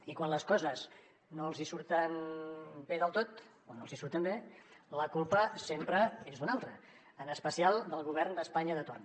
i quan les coses no els hi surten bé del tot o no els hi surten bé la culpa sempre és d’un altre en especial del govern d’espanya de torn